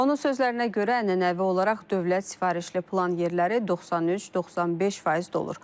Onun sözlərinə görə ənənəvi olaraq dövlət sifarişli plan yerləri 93-95% dolur.